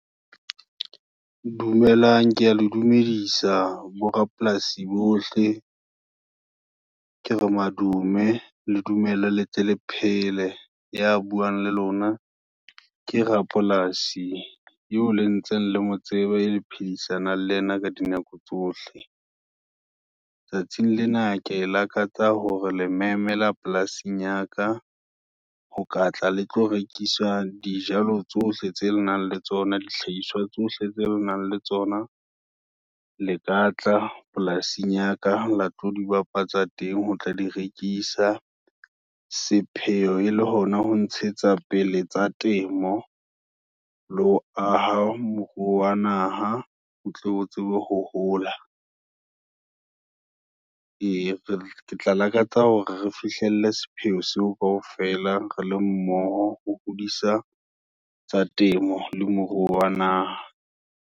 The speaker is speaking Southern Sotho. Dumelang, kea le dumedisa, bo rapolasi bohle, ke re madume, le dumela letle la phele, ya buang le lona, ke rapolasi, eo le ntse le motseba, le phedisanang le yena, ka dinako tsohle. Tsatsing lena, ke lakatsa hore, le memela polasing yaka, ho ka tla le tlo rekisa dijalo, tsohle tseo le nang le tsona, dihlahiswa tsohle tse le nang le tsona, le ka tla polasing yaka, la tlo di bapatsa teng, ho tla di rekisa. Sepheo e le hona ho ntshetsa pele tsa temo, le ho aha moruo wa naha, o tlo o tsebe hohola, eya ke tla lakatsa hore, re fihlelle sepheo seo kaofela, re le mmoho, ho hodisa tsa temo, le moruo wa naha.